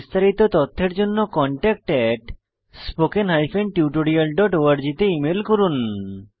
বিস্তারিত তথ্যের জন্য contactspoken tutorialorg তে ইমেল করুন